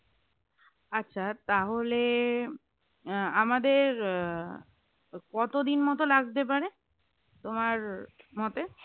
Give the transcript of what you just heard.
আচ্ছা তাহলে আহ আমাদের আহ কতদিন মত লাগতে পারে তোমার মতে?